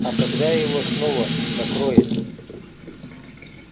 а когда его снова накроет